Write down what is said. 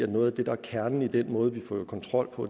noget af det der er kernen i den måde vi fører kontrol på